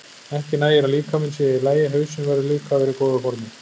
Ekki nægir að líkaminn sé í lagi, hausinn verður líka að vera í góðu formi.